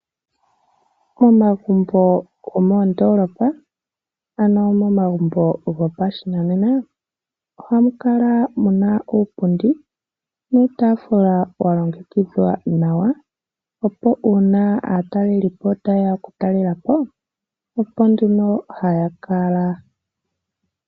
Momagumbo gomoondolopa ano momagumbo go pashinanena ohamu kala muna uupundi nuutafula walongekidhwa nawa opo una aatalelipo tayeya oku talelapo oko nduno haya kala.